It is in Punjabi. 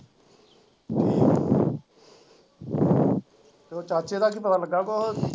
ਤੇ ਚਾਚੇ ਦਾ ਕੀ ਪਤਾ ਲੱਗਾ ਕੁੱਝ?